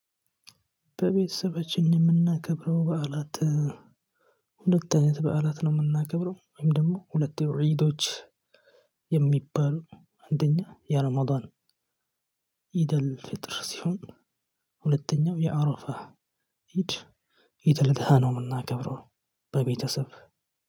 በቤተሰቦቼ የምናከብረው በዓላት ሁለት አይነት በዓላት ነው የምናከብረው ወይም ደግሞ ሁለት የሮይዶች የሚባሉ አንደኛ የአርማዶን ኢደል ፍጥር ሲሆን ሁለተኛው የአረፋ ኢድ ኢደል ደሃ ነው የምናከብረው። በቤተሰብ